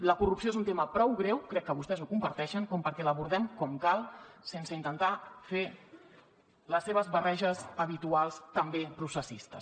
la corrupció és un tema prou greu crec que vostès ho comparteixen com perquè l’abordem com cal sense intentar fer les seves barreges habituals també processistes